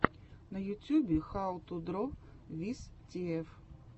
на ютюбе хау ту дро виз тиэф